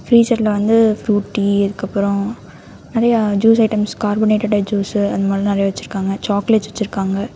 ஃப்ரீஸர்ல வந்து ஃப்ரூட்டி அதுக்கப்புரோ நெறையா ஜூஸ் ஐட்டம்ஸ் கார்பனேட்டட் ஜூஸ் அந்த மாதிரிலா நெறையா வச்சிருக்காங்க சாக்லேட்ஸ் வெச்சுருக்காங்க.